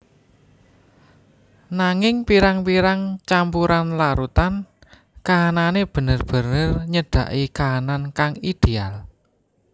Nanging pirang pirang campuran larutan kahanane bener bener nyedaki kahanan kang ideal